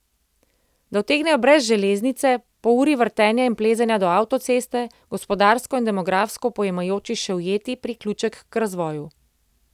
Da utegnejo brez železnice, po uri vrtenja in plezanja do avtoceste, gospodarsko in demografsko pojemajoči še ujeti priključek k razvoju.